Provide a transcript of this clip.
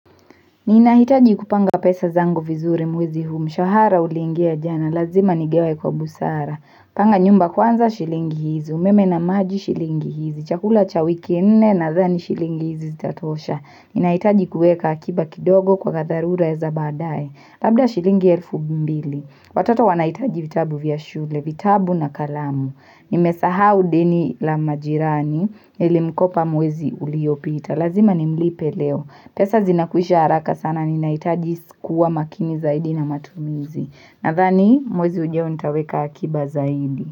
Ninahitaji kupanga pesa zangu vizuri mwezi huu mshahara uliingia jana, lazima nigawe kwa busara, panga nyumba kwanza shilingi hizi, umeme na maji shilingi hizi, chakula cha wike nne nadhani shilingi hizi zitatosha, ninahitaji kuweka akiba kidogo kwa tharura za badaye, labda shilingi elfu mbili, watoto wanahitaji vitabu vya shule, vitabu na kalamu, nimesahau deni la majirani, nilimkopa mwezi uliopita, lazima nimlipe leo, pesa zinakwisha haraka sana ninaitaji kuwa makini zaidi na matumizi. Nathani mwezi ujao nitaweka akiba zaidi.